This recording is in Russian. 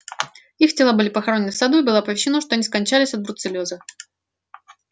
их тела были похоронены в саду и было оповещено что они скончались от бруцеллёза